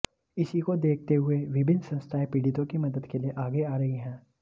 इसी को देखते हुए विभिन्न संस्थाएं पीड़ितों की मदद के लिए आगे आ रही हैं